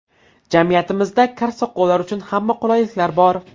Jamiyatimizda kar-soqovlar uchun hamma qulayliklar bor.